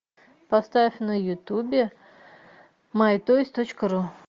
поставь на ютубе май тойс точка ру